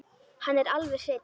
Hann er alveg hreinn.